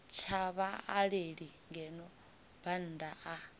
tsha vhaaleli ngeno bannda a